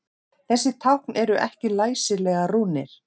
Þessi tákn eru ekki læsilegar rúnir.